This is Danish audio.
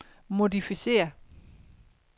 modificér